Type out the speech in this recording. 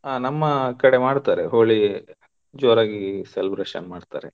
ಹ ನಮ್ಮ ಕಡೆ ಮಾಡ್ತಾರೆ Holi , ಜೋರಾಗಿ celebration ಮಾಡ್ತಾರೆ.